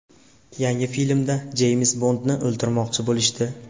Yangi filmda Jeyms Bondni o‘ldirmoqchi bo‘lishdi.